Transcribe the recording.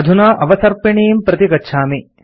अधुना अवसर्पिणीं प्रति गच्छामि